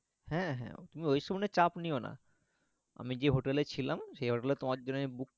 হ্যাঁ হ্যাঁ তুমি ওইসব নিয়ে চাপ নিওনা আমি যে হোটেলে ছিলাম সেই হোটেলে তোমার জন্যে Book